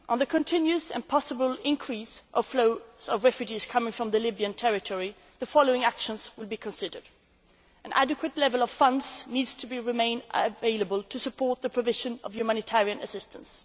term. On the continuous and possible increase of flows of refugees coming from the Libyan territory, the following actions will be considered an adequate level of funds needs to remain available to support the provision of humanitarian assistance.